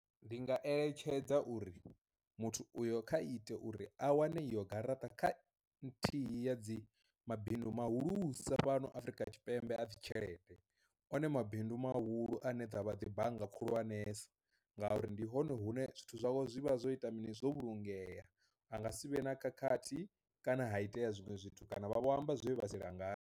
Ndi nga eletshedza uri muthu uyo kha ite uri a wane iyo garaṱa kha nthihi ya dzi mabindu muhulusa fhano Afrika Tshipembe a dzi tshelede, one mabindu mahulu ane avha dzi bannga khulwanesa ngauri ndi hone hune zwithu zwawe zwi vha zwo ita mini zwo vhulungea, anga sivhe na khakhathi kana ha itea zwiṅwe zwithu kana vha vho amba zwe vha si langa.